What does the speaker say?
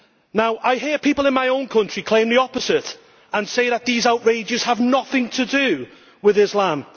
Now I hear people in my own country claim the opposite and say that these outrages have nothing to do with Islam.